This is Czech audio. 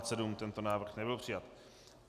Tento návrh nebyl přijat.